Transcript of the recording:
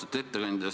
Austatud ettekandja!